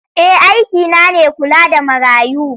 Eh aikina ne kula da marayu.